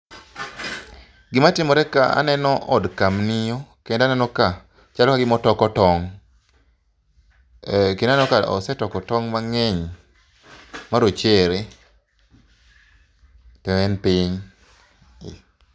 Gima timore ka aneno od kamnio kendo aneno ka chalo kagima otoko tong'.Kendo aneno ka osetoko tong' mang'eny marochere to en piny